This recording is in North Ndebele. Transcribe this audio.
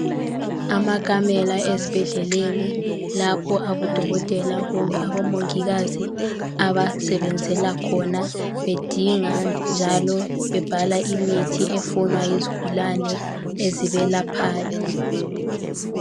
Amakamela ezibhedleleni lapha abadokotela kumbe abomongikazi abasebenzela khona bedinga njalo bebhala imithi efunwa yizigulane ezibelaphayo.